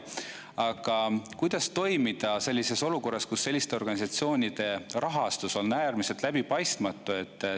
Aga kuidas toimida sellises olukorras, kus selliste organisatsioonide rahastus on äärmiselt läbipaistmatu?